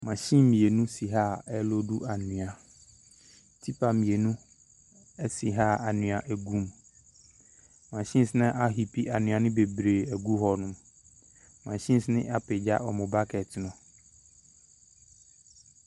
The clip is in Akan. Machine mmienu si ha a ɛreloodu anwea. Tipper mmienu si ha a anwea gu mu. Machines no apia anwea ne bebree agu hɔ. Machines napagya wɔn bucket no.